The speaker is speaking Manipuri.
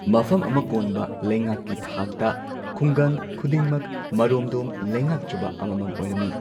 ꯃꯐꯝ ꯑꯃ ꯀꯣꯟꯕ ꯂꯩꯉꯥꯛꯀꯤ ꯊꯥꯛꯇ ꯈꯨꯡꯒꯪ ꯈꯨꯗꯤꯡꯃꯛ ꯃꯔꯣꯝꯗꯣꯝ ꯂꯩꯉꯥꯛꯆꯕ ꯑꯃꯃꯝ ꯑꯣꯏꯔꯝꯃꯤ꯫